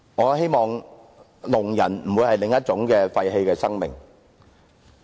我希望聾人不會是另一種廢棄的生命。